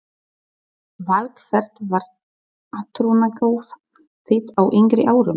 Val Hvert var átrúnaðargoð þitt á yngri árum?